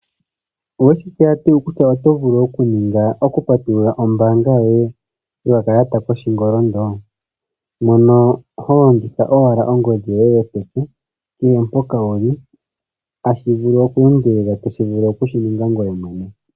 Oweshi tseya tuu kutya oto vulu oku patulula ombaanga yoye no kakalata koshingolindo? Mono ho longitha owala ongodhi yoye yopeke, kehe mpoka wuli, hashi vulu oku endelele, to vulu oku shininga ngoye mwene.